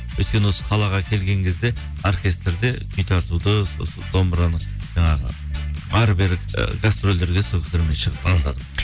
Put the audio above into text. өйткені осы қалаға келген кезде оркестрде күй тартуды домбыраны жаңағы әрі бері ы гастрольдерге